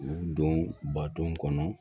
U don bato kɔnɔ